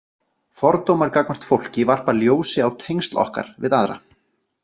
Fordómar gagnvart fólki varpa ljósi á tengsl okkar við aðra.